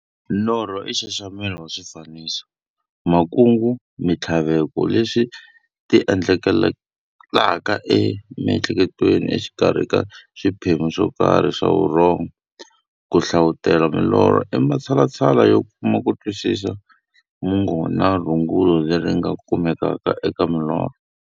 Norho i nxaxamelo wa swifaniso, makungu na minthlaveko leswi ti endlekelaka emiehleketweni exikarhi ka swiphemu swokarhi swa vurhongo. Ku hlavutela milorho i matshalatshala yo kuma kutwisisa mungo na rungula leri nga kumekaka eka milorho.